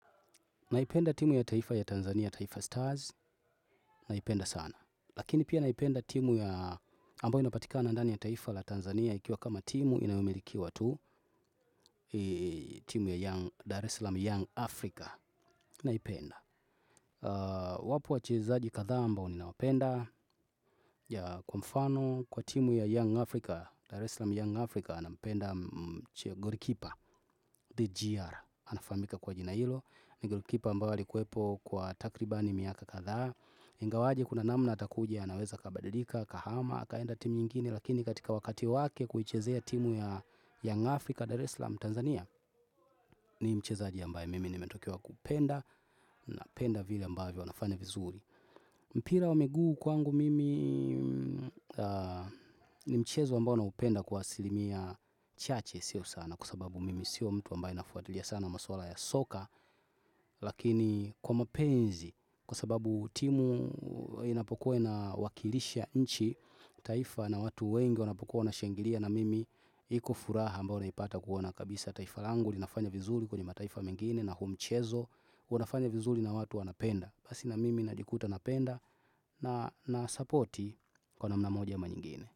Naipenda timu ya taifa ya Tanzania, taifa Stars, naipenda sana. Lakini pia naipenda timu ya ambayo inapatika ndani ya taifa la Tanzania, ikiwa kama timu inayomirikiwa tu, timu ya Dare slam Young Africa, naipenda. Wapo wachezaji kathaa ambao ninawapenda ya kwa mfano, kwa timu ya Young Africa, Dar eslam Young Africa, napenda gori kipa, DGR, anafamika kwa jina hilo, ni gori kipa ambayo alikuepo kwa takribani miaka kathaa, ingawaje kuna namna atakuja anaweza kabadilika, kahama, kaenda timu nyingine lakini katika wakati wake kuichezea timu ya Young Africa Dareslam Tanzania ni mchezaji ambaye mimi nimetokewa kupenda napenda vile ambavyo anafanya vizuri. Mpira wa miguu kwangu mimi ni mchezo ambao naupenda kwa asilimia chache sio sana kwa sababu mimi sio mtu ambaye nafuatilia sana maswala ya soka lakini kwa mapenzi kwa sababu timu inapokua inawakilisha nchi taifa na watu wengi wanapokua wanashangilia na mimi iko furaha ambao naipata kuona kabisa taifa langu linafanya vizuri kwenye mataifa mengine na humchezo unafanya vizuri na watu wanapenda Basi na mimi najikuta napenda na na sapoti kwa namna moja ama nyingine.